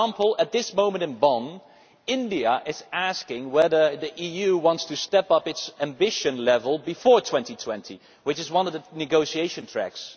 For example, at this moment in Bonn, India is asking whether the EU wants to step up its ambition level before 2020, which is one of the negotiation tracks.